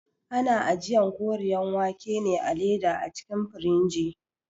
Ana ajiyan Koriyar wake ne a leda a cikin firigi